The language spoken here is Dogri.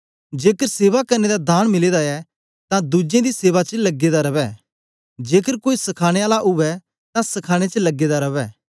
जेकर सेवा करने दा दान मिले दा ऐ तां दुज्जें दी सेवा च लगे दा रवै जेकर कोई सखाने आला उवै तां सखाने च लगे दा रवै